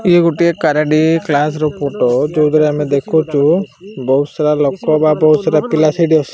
ଇଏ ଗୋଟେ karate class photo ଯୋଉଥିରେ ଆମେ ଦେଖୁଚୁ ବୋହୁତ ସାରା ଲୋକ ବା ବୋହୁତ ସାର ପିଲା ସେଇଠି ଅ --